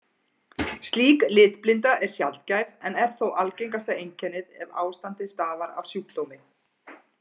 Slík litblinda er sjaldgæf en er þó algengasta einkennið ef ástandið stafar af sjúkdómi.